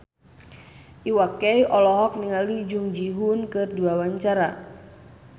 Iwa K olohok ningali Jung Ji Hoon keur diwawancara